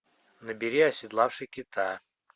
набери оседлавший кита